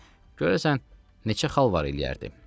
görəsən neçə xal var eləyərdi?